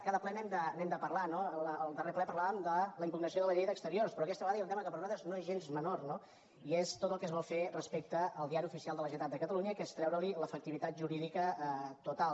cada ple n’hem de parlar no al darrer ple parlàvem de la impugnació de la llei d’exteriors però aquesta vegada hi ha un tema que per nosaltres no és gens menor no i és tot el que es vol fer respecte al diari oficial de la generalitat de catalunya que es treure li l’efectivitat jurídica total